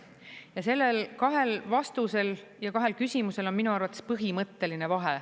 Ja sellel kahel vastusel ja kahel küsimusel on minu arvates põhimõtteline vahe.